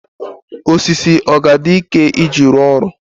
osisi ọ ga-adị ike iji rụọ ọrụ?